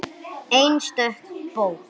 Einstök bók.